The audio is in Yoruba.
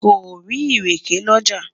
sò rí ìrèké l'ọja?